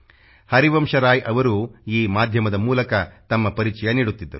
ಹರಿವಂಶರಾಯ್ ಅವರು ಈ ಮಾಧ್ಯಮದ ಮೂಲಕ ತಮ್ಮ ಪರಿಚಯ ನೀಡುತ್ತಿದ್ದರು